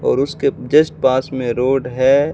और उसके जस्ट पास में रोड है।